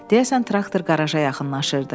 Deyəsən traktor qaraja yaxınlaşırdı.